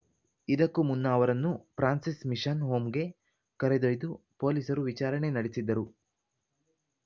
ಇದಕ್ಕೂ ಮುನ್ನ ಅವರನ್ನು ಫ್ರಾನ್ಸಿಸ್‌ ಮಿಷನ್‌ ಹೋಮ್‌ಗೆ ಕರೆದೊಯ್ದು ಪೊಲೀಸರು ವಿಚಾರಣೆ ನಡೆಸಿದ್ದರು